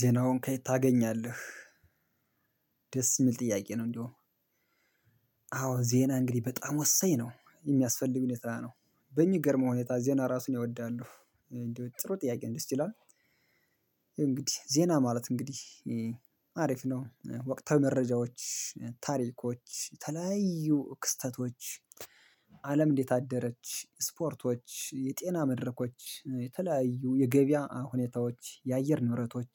ዜናውን ከየት ታገኛለህ? ደስ የሚል ጥያቄ ነው እንደውም አዎ ዜና እንግዲህ በጣም ወሳኝ ነው የሚያስፈል ሁኔታ ነው በሚገርም ሁኔታ ዜና ራሱ እኔ እወዳለሁ እንደው ጥሩ ጥያቄ ደስ ይላል ያው እንግዲህ ዜና ማለት እንግዲህ አሪፍ ነው ወቅታዊ መረጃዎች ታሪኮች የተለያዩ ክስተቶች አለም እንዴት አደረች ስፖርቶች የጤና መድረኮች የተለያዩ የገበያ ሁኔታዎች የአየር ንብረቶች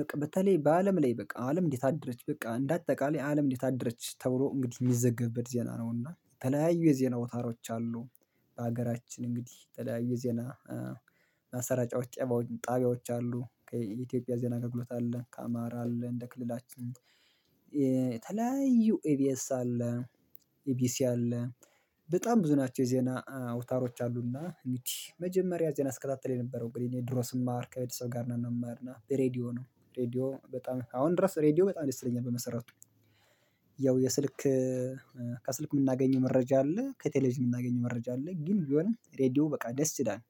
በቃ በተለይ በአለም ላይ በቃ አለም እንዴት አደረች በቃ እንደ አጠቃላይ አለም እንዴት አደረች ተብሎ እንግዲህ የሚዘገብበት ዜና ነውና የተለያዩ የዜና አውታሮች አሉ። በሀገራችን እንግዲህ የተለያዩ የዜና ማሰራጫዎች ጣቢያዎች አሉ ከኢትዮጵያ ዜና አገልግሎት አለ ከአማራ አለ እንደ ክልላችን የተለያዩ ኢቢኤስ አለ። ኢቢሲ አለ። በጣም ብዙ ናቸው የዜና አውታሮች አሉና እንግዲህ መጀመሪያ ዜና ስከታተል የነበረው እንግዲህ ድሮ ስማር ከቤተሰብ ጋር ነው የምማርና ሬዲዮ ነው ሬዲዮ በጣም አሁን ድረስ ሬዲዮ በጣም ልስጥልኝ ነው። በመሰረቱ ያው የስልክ ከስልክ የምናገኘው መረጃ አለ ከቴሌቪዥን የምናገኘው መረጃ አለ ግን ቢሆንም ሬዲዮ በቃ ደስ ይላል።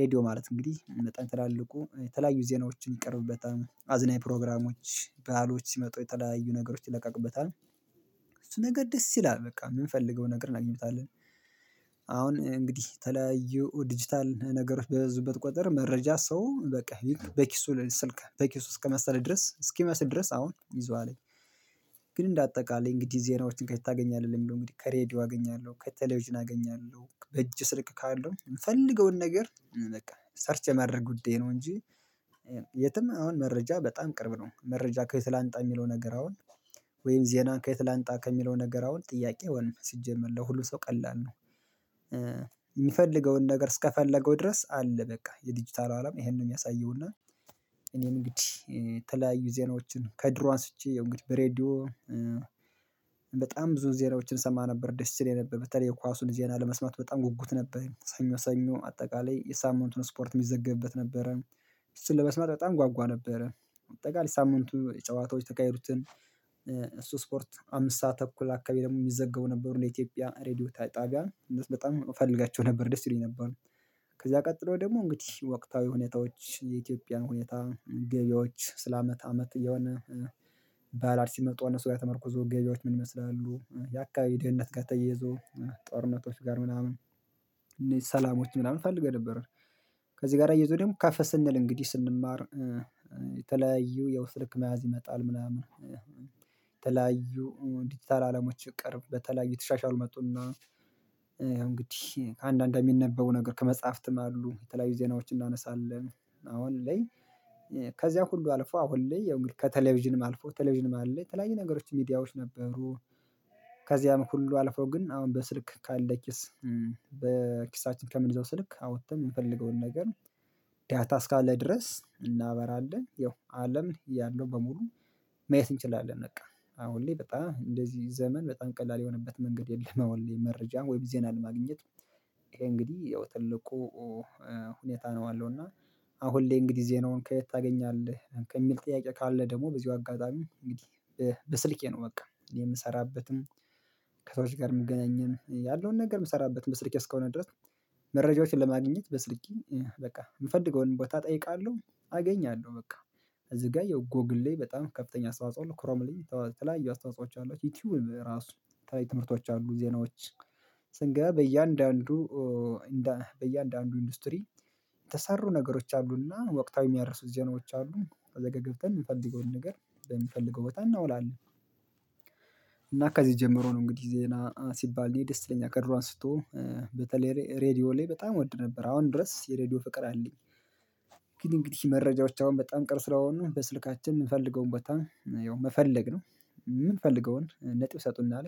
ሬዲዮ ማለት እንግዲህ መጠን ትላልቁ የተለያዩ ዜናዎችን ይቀርብበታል አዝናኝ ፕሮግራሞች በዓሎች ሲመጡ የተለያዩ ነገሮች ይለቃቅበታል እሱ ነገር ደስ ይላል በቃ የምንፈልገውን ነገር እናገኝበታለን። አሁን እንግዲህ የተለያዩ ዲጂታል ነገር በበዙበት ቁጥር መረጃ ሰው በቃ በኪሱ ስልክ በኪሱ እስከመሰለ ድረስ እስኪመስል ድረስ አሁን ይዟልኝ። ግን እንደ አጠቃላይ እንግዲህ ዜናዎችን ከየት ታገኛለህ የሚለው እንግዲህ ከሬዲዮ አገኛለሁ ከቴሌቭዥን አገኛለሁ በእጅ ስልክ ካለው የምፈልገውን ነገር በቃ ሰርች የማድረግ ጉዳይ ነው። እንጂ የትም አሁን መረጃ በጣም ቅርብ ነው መረጃ ከየት ላንጣ የሚለው ነገር አሁን ወይም ዜናን ከየት ላምጣ ከሚለው ነገር አሁን ጥያቄ አይሆንም ሲጀመር ለሁሉ ሰው ቀላል ነው። የሚፈልገውን ነገር እስከፈለገው ድረስ አለ በቃ የዲጂታል አለም ይሄን ነው የሚያሳየው እና እኔም እንግዲህ የተለያዩ ዜናዎችን ከድሮ አንስቼ ያው እንግዲህ በሬዲዮ በጣም ብዙ ዜሮዎችን ሰማ ነበር። ደስ ይለኝ በተለይ የኳሱን ዜና ለመስማት በጣም ጉጉት ነበረኝ ሰኞ ሰኞ አጠቃላይ የሳምንቱን ስፖርት የሚዘገብበት ነበረ። እሱን ለመስማት በጣም ጓጓ ነበረ በአጠቃላይ ሳምንቱ ጨዋታዎች የተካሄዱትን እሱ ስፖርት አምስት ሰዓት ተኩል አካባቢ የሚዘገቡ ነበሩ በኢትዮጵያ ሬዲዮ ጣቢያ በጣም እፈልጋቸው ነበር ደስ ይሉኝ ነበር። ከዛ ቀጥሎ ደግሞ እንግዲህ ወቅታዊ ሁኔታዎች የኢትዮጵያን ሁኔታ ገበያዎች ስለ አመት አመት እየሆነ ባዓላት ሲመጡ እነሱ ጋር ተመርኩዞ ገበያዎች ምን ይመስላሉ የአካባቢ ደህንነት ተያይዞ ጦርነቶች ጋር ምናምን እኔ ሰላሞች ምናምን ፈልጌ ነበር። ከዚህ ጋር አያይዞ ደግሞ ከፍ ስንል እንግዲህ ስንማር የተለያዩ ያው ስልክ መያዝ ይመጣል። ምናምን የተለያዩ ዲጂታል አለሞች ቅርብ በተለያዩ የተሻሽሉ ይመጡና ያው እንግዲህ ከአንዳንድ የሚነበበው ነገር ከመጽሐፍትም አሉ የተለያዩ ዜናዎችን እናነሳለን አሁን ላይ ከዚያ ሁሉ አልፎ አሁን ላይ ከቴሌቪዥንም አልፎ ቴሌቪዥንም አለ የተለያዩ ነገሮች ሚዲያዎች ነበሩ። ከዚያም ሁሉ አልፎ ግን አሁን በስልክ ካለ ኪስ በኪሳችን ከምንይዘው ስልክ አውጥተን የምንፈልገውን ነገር ዳታ እስካለ ድረስ እናበራለን ያው አለም ያለው በሙሉ ማየት እንችላለን። በቃ አሁን ላይ በጣም እንደዚህ ዘመን በጣም ቀላል የሆነበት መንገድ የለም። አሁን ላይ መረጃ ወይም ዜና ማግኘት ይሄ እንግዲህ ያው ትልቁ ሁኔታ ነው። አለው እና አሁን ላይ እንግዲህ እዚህ ዜናውን ከየት ታገኛለህ ከሚል ጥያቄ ካለ ደግሞ በዚሁ አጋጣሚ እንግዲህ በስልኬ ነው በቃ የምሰራበትም ከሰዎች ጋር የምገናኝም ያለውን ነገር የምሰራበት በስልኬ እስከሆነ ድረስ መረጃዎችን ለማግኘት በስልኬ በቃ የምፈልገውን ቦታ እጠይቃለሁ። አገኛለሁ በቃ እዚህ ጋር የጉግል ላይ በጣም ከፍተኛ አስተዋጾ ክሮም ላይ የተለያዩ አስተዋጽኦዎች አሏቸው ዩቲዩብ ራሱ የተለያዩ ትምህርቶች አሉ ዜናዎች ስንገባ በየአንዳንዱ በየአንዳንዱ ኢንዱስትሪ የተሰሩ ነገሮች አሉና ወቅታዊ የሚያርሱ ዜናዎች አሉ ከዛጋ ገብተን የምንፈልገውን ነገር በምንፈልገው ቦታ እናውላለን። እና ከዚህ ጀምሮ ነው እንግዲህ ዜና ሲባል እኔ ደስ ይለኛል ከድሮ አንስቶ በተለይ ሬዲዮ ላይ በጣም እወድ ነበር አሁን ድረስ የሬዲዮ ፍቅር አለኝ። ግን እንግዲህ መረጃዎች አሁን በጣም ቅርብ ስለሆኑ በስልካችን የምንፈልገውን ቦታ ያው መፈለግ ነው የምንፈልገውን ነጥብ ይሰጡናል።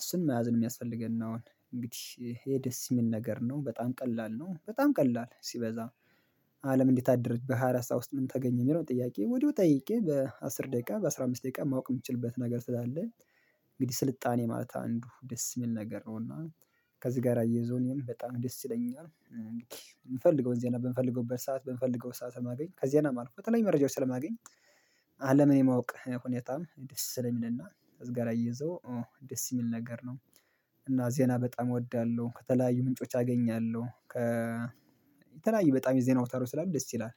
እሱን መያዝ የሚያስፈልገን አሁን እንግዲህ ይሄ ደስ የሚል ነገር ነው በጣም ቀላል ነው በጣም ቀላል ሲበዛ አለም እንዴት አደረች በሃያ አራት ሰዓት ውስጥ ምን ተገኘ የሚለውን ጥያቄ ወዲያው ጠይቄ በአስር ደቂቃ በአስራ አምስት ደቂቃ ማወቅ የምችልበት ነገር ስላለ እንግዲህ ስልጣኔ ማለት አንዱ ደስ የሚል ነገር ነውና ከዚህ ጋር አያይዞ እኔም በጣም ደስ ይለኛል። እንግዲህ የምፈልገውን ዜና በምፈልግበት ሰዓት በምፈልገው ሰዓት ስለማገኝ የተለያዩ መረጃው ስለማገኝ አለምን የማወቅ ሁኔታም ደስ ስለሚልና ከዚህጋር አያይዞ ደስ የሚል ነገር ነው። እና ዜና በጣም እወዳለሁ ከተለያዩ ምንጮች አገኛለሁ ከ የተለያዩ በጣም የዜና አውታሮች ስላሉ በጣም ደስ ይላል